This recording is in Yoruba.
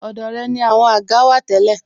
Ọ̀dọ̀ rẹ ni àwọn àga wà tẹ́lẹ̀